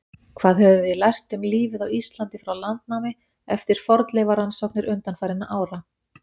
Hvað höfum við lært um lífið á Íslandi frá landnámi eftir fornleifarannsóknir undanfarinna ára?